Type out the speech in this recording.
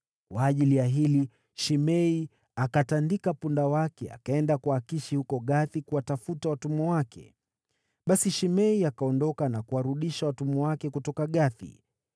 Kwa ajili ya hili, Shimei akatandika punda wake, akaenda kwa Akishi huko Gathi kuwatafuta watumwa wake. Basi Shimei akaondoka na kuwarudisha watumwa wake kutoka Gathi.